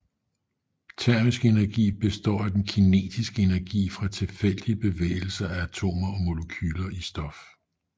Termisk energi består af den kinetiske energi fra tilfældige bevægelser af atomer og molekyler i stof